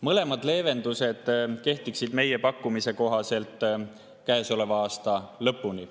Mõlemad leevendused kehtiksid meie pakkumise kohaselt käesoleva aasta lõpuni.